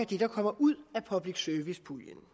der kommer ud af public service puljen